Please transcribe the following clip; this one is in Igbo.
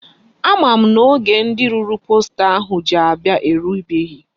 Ama m na oge ndi rụrụ posta ahụ ji abia erubeghi.